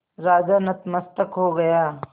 राजा नतमस्तक हो गया